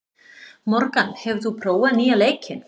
Morgan, hefur þú prófað nýja leikinn?